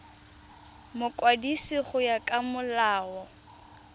mokwadisi go ya ka molao